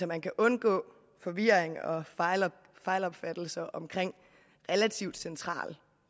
man kan undgå forvirring og fejlopfattelse omkring relativt central